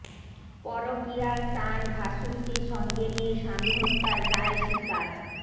পরকীয়ার টান ভাশুরকে সঙ্গে নিয়ে স্বামী হত্যার দায় স্বীকার